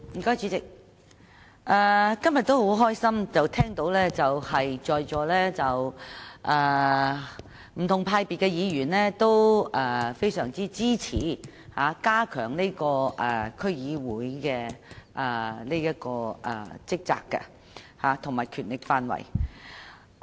主席，今天很高興聽到不同黨派議員均非常支持加強區議會的職責和權力範圍。